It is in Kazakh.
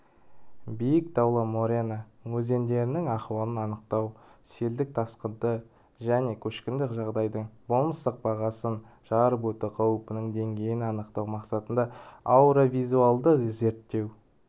биік таулы морена өзендерінің ахуалын анықтау селдік тасқынды және көшкіндік жағдайдың болмыстық бағасын жарып өту қаупінің деңгейін анықтау мақсатында аэровизуальді зерттеу